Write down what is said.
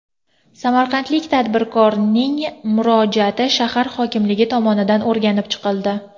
Samarqandlik tadbirkorning murojaati shahar hokimligi tomonidan o‘rganib chiqildi.